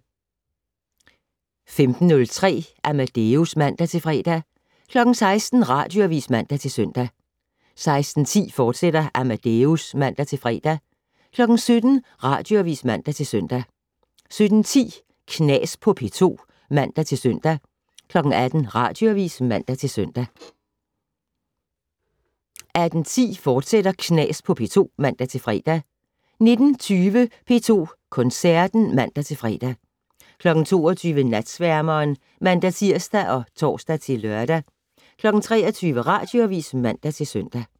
15:03: Amadeus (man-fre) 16:00: Radioavis (man-søn) 16:10: Amadeus, fortsat (man-fre) 17:00: Radioavis (man-søn) 17:10: Knas på P2 (man-søn) 18:00: Radioavis (man-søn) 18:10: Knas på P2, fortsat (man-fre) 19:20: P2 Koncerten (man-fre) 22:00: Natsværmeren (man-tir og tor-lør) 23:00: Radioavis (man-søn)